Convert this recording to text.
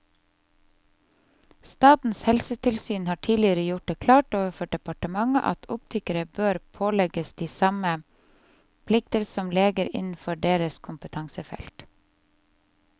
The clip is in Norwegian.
Statens helsetilsyn har tidligere gjort det klart overfor departementet at optikere bør pålegges de samme plikter som leger innenfor deres kompetansefelt.